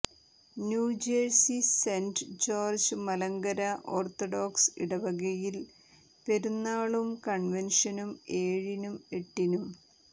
New Jersey Saint George Malankara Orthodox ഇടവകയിൽ പെരുന്നാളും കൺവൻഷനും ഏഴിനും എട്ടിനും